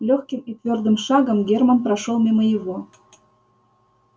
лёгким и твёрдым шагом герман прошёл мимо его